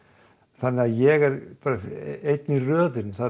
þannig að ég er bara einn í röðinni það